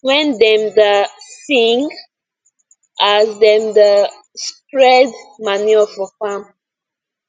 when dem da sing as dem da spread manure for farm